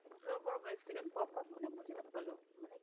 ৰব ৰব এক second pop up মানে বুজি নাপালোঁ